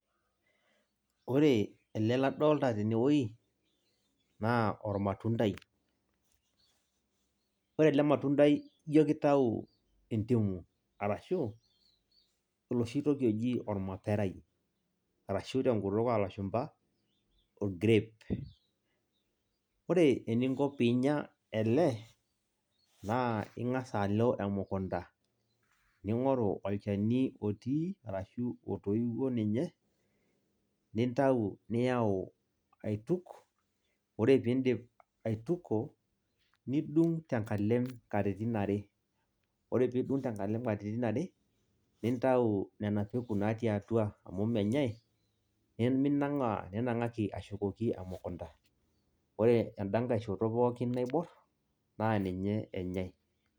Ore ele ladolta tenewei, naa ormatuntai. Ore ele matundai jo kitau entimu. Arashu, oloshi toki oji ormaperai, arashu tenkutuk olashumpa grape. Ore eninko pinya ele, naa ing'asa alo emukunda, ning'oru olchani otii, arashu otoiwuo ninye, nintau niyau aituk, ore piidip aituko, nidung' tenkalem katitin are. Ore pidung' tenkalem katitin are, nintau nena peku natii atua amu menyai, niminang'aa, ninang'aki ashukoki emukunda. Ore enda nkae shoto pookin naibor, naa ninye enyai.